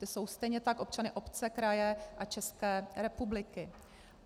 Ti jsou stejně tak občany obce, kraje a České republiky.